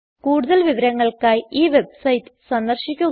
കൂടുതൽ വിവരങ്ങൾക്കായി ഈ വെബ്സൈറ്റ് സന്ദർശിക്കുക